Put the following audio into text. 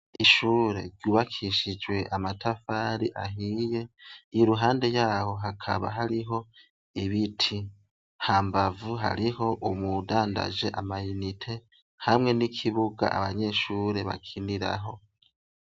Ishure ry'ubakishijwe amatafari ahiye iruhande yaho hakaba hariho ibiti ,hambavu hariho uwudangaje amayinite, hamwe nikibuga abanyeshure bakiniraho.